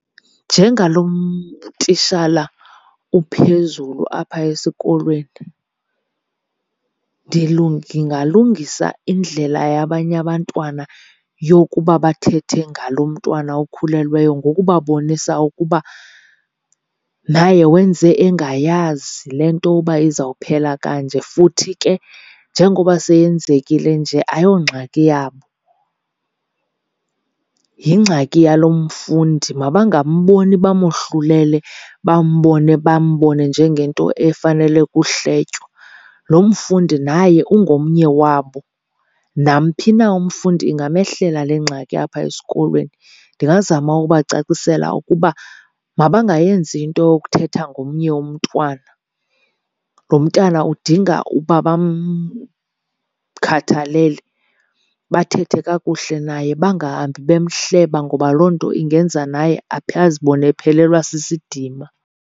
Njengalo tishala uphezulu apha esikolweni, ndingalungisa indlela yabanye abantwana yokuba bathethe ngalo mntwana ukhulelweyo ngokubabonisa ukuba naye wenze engayazi le nto uba izawuphela kanje, futhi ke njengoba seyenzekile nje ayongxaki yabo yingxaki yalo mfundi. Mabangamboni bamohlulele bambone, bambone njengento efanele kuhletywa. Lo mfundi naye ungomnye wabo, namphi na umfundi ingamehlela le ngxaki apha esikolweni. Ndingazama ubacacisela ukuba mabangayenzi into yokuthetha ngomnye umntwana, lo mntana udinga uba bamkhathalele, bathethe kakuhle naye bangahambi bemhleba ngoba loo nto ingenza naye azibone ephelelwa sisidima.